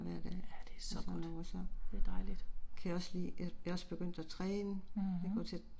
Ja det er så godt, det er dejligt. Mh